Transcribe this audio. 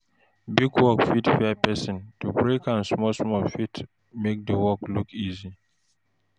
Big work fit fear person, to break am small small fit make di work look easy